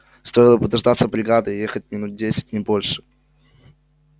стоило бы дождаться бригады ей ехать минут десять не больше